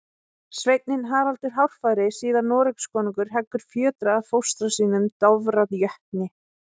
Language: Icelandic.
Sveinninn Haraldur hárfagri, síðar Noregskonungur, heggur fjötra af fóstra sínum, Dofra jötni.